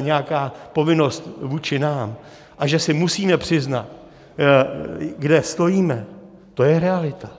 nějaká povinnost vůči nám a že si musíme přiznat, kde stojíme, to je realita.